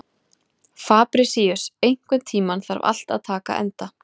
Fabrisíus, einhvern tímann þarf allt að taka enda.